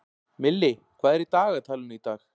Milli, hvað er í dagatalinu í dag?